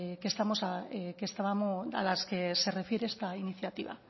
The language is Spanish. a las que se refiere esta iniciativa